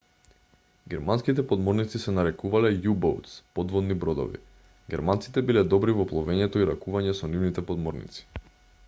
германските подморници се нарекувале u-boats подводни бродови. германците биле добри во пловењето и ракување со нивните подморници